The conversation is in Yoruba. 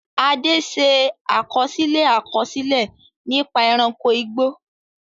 Ade ṣe àkọsílẹ̀ àkọsílẹ̀ nípa ẹranko igbó.